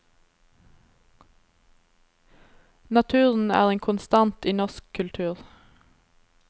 Naturen er en konstant i norsk kultur.